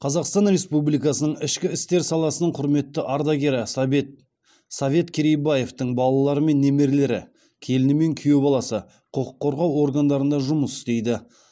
қазақстан республикасының ішкі істер саласының құрметті ардагері совет совет керейбаевтың балалары мен немерелері келіні мен күйеу баласы құқық қорғау органдарында жұмыс істейді